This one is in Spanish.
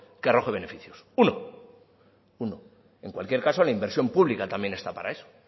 que arroje beneficio uno en cualquier caso la inversión pública también está para eso